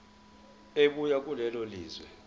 ebuya kulelo lizwe